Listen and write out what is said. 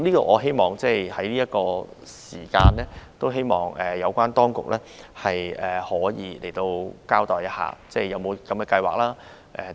我希望在這段時間，有關當局可以交代有否這樣的計劃等。